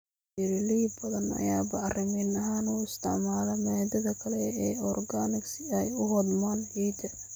Beeraley badan ayaa bacrimin ahaan u isticmaala maadada kale ee organic si ay u hodmaan ciidda.